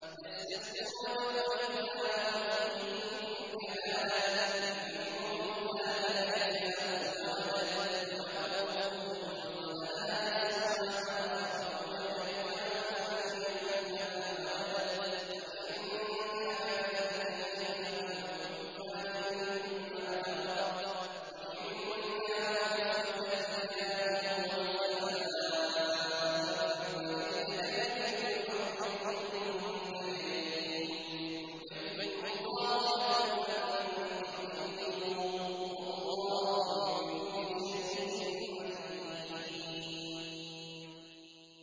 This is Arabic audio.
يَسْتَفْتُونَكَ قُلِ اللَّهُ يُفْتِيكُمْ فِي الْكَلَالَةِ ۚ إِنِ امْرُؤٌ هَلَكَ لَيْسَ لَهُ وَلَدٌ وَلَهُ أُخْتٌ فَلَهَا نِصْفُ مَا تَرَكَ ۚ وَهُوَ يَرِثُهَا إِن لَّمْ يَكُن لَّهَا وَلَدٌ ۚ فَإِن كَانَتَا اثْنَتَيْنِ فَلَهُمَا الثُّلُثَانِ مِمَّا تَرَكَ ۚ وَإِن كَانُوا إِخْوَةً رِّجَالًا وَنِسَاءً فَلِلذَّكَرِ مِثْلُ حَظِّ الْأُنثَيَيْنِ ۗ يُبَيِّنُ اللَّهُ لَكُمْ أَن تَضِلُّوا ۗ وَاللَّهُ بِكُلِّ شَيْءٍ عَلِيمٌ